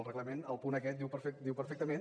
el reglament al punt aquest diu perfectament